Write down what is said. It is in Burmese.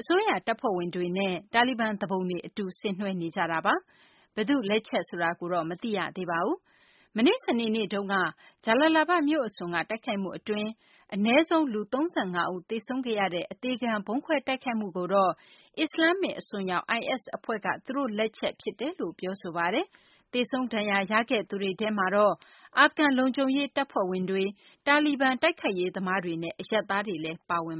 အစိုးရ တပ်ဖွဲ့ဝင်တွေနဲ့ တာလီဘန် သူပုန်တွေ အတူ ဆင်နွှဲနေကြတာပါ။ ဘယ်သူ့လက်ချက် ဆိုတာကိုတော့ မသိရသေးပါဘူး။ မနေ့ စနေနေ့တုန်းက ဂျလာလာဘဒ် မြို့ အစွန်က တိုက်ခိုက်မှု အတွင်း အနည်းဆုံး လူ ၃၅ ဦး သေဆုံးခဲ့ရတဲ့ အသေခံ ဗုံးခွဲတိုက်ခိုက်မှုကိုတော့ အစ္စလာမ္မစ် အစွန်းရောက် IS အဖွဲ့က သူတို့လက်ချက် ဖြစ်တယ်လို့ ပြောဆိုပါတယ်။ သေဆုံးဒဏ်ရာရခဲ့သူတွေထဲမှာတော့ အာဖဂန် လုံခြုံရေး အဖွဲ့ဝင်တွေ၊ တာလီဘန် တိုက်ခိုက်ရေးသမားတွေနဲ့ အရပ်သားတွေလည်း ပါဝင်